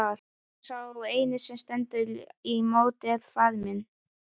Og sá eini sem stendur í móti er faðir minn!